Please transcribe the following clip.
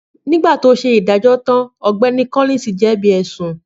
Nígbà tó ṣe ìdájọ́ tan, Ọ̀gbẹ́ni Collins jẹbi bi ẹsun